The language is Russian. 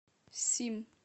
сим